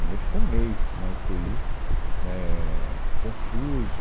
Né, Ele ficou um mês na ú tê í, éh, confuso.